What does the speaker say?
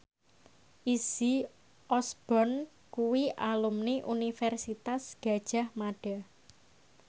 Izzy Osborne kuwi alumni Universitas Gadjah Mada